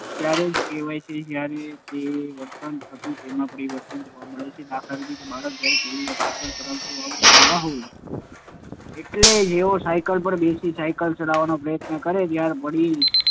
ત્યારે જ કહેવાય જ્યારે પહેલાં જે વર્તન હતું તેમાં પરિવર્તન જોવા મળે. દાખલ તરીકે બાળકને જ્યારે પહેલી વાર સાયકલ ચલાવતાં આવડતું ન હોય એટલે જેવો સાયકલ પર બેસી સાયકલ ચલાવવાનો પ્રયત્ન કરે ત્યારે પડી